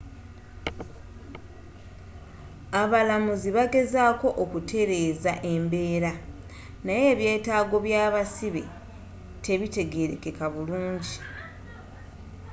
abalamuza bagezezaako okutereza embeera naye ebyetaago byabasibe tebitegerekeka burungi